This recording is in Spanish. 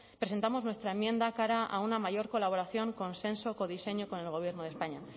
presentamos nuestra enmienda cara a una mayor colaboración consenso codiseño con el gobierno de españa